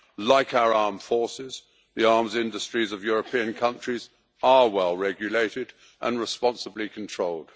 Like our armed forces, the arms industries of European countries are well regulated and responsibly controlled.